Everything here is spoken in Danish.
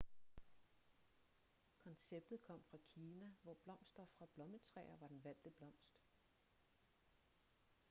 konceptet kom fra kina hvor blomster fra blommetræer var den valgte blomst